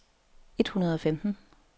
et hundrede og femten